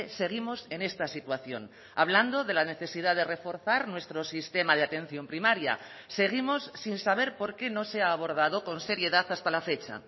seguimos en esta situación hablando de la necesidad de reforzar nuestro sistema de atención primaria seguimos sin saber por qué no se ha abordado con seriedad hasta la fecha